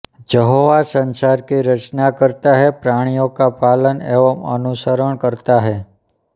जहोवासंसार की रचना करता है प्राणियों का पालन एवं अनुसंरक्षणकरता है